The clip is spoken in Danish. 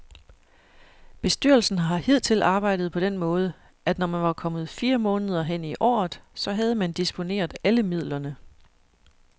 Bestyrelsen har hidtil arbejdet på den måde, at når man var kommet fire måneder hen i året, så havde man disponeret alle midlerne.